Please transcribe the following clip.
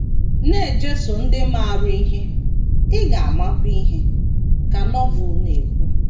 “ Na - ejeso ndị maara ihe, ị ga - amakwa ihe, ” ka Novel na - ekwu.